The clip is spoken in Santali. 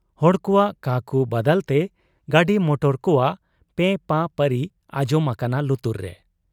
ᱦᱚᱲ ᱠᱚᱣᱟᱜ ᱠᱟᱠᱩ ᱵᱟᱫᱟᱞᱛᱮ ᱜᱟᱹᱰᱤ ᱢᱚᱴᱚᱨ ᱠᱚᱣᱟᱜ ᱯᱮᱸ ᱯᱟᱸ ᱯᱟᱹᱨᱤ ᱟᱸᱡᱚᱢ ᱟᱠᱟᱱᱟ ᱞᱩᱛᱩᱨ ᱨᱮ ᱾